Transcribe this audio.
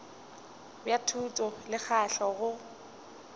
bja thuto le tlhahlo go